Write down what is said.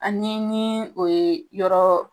An ni o ye yɔrɔ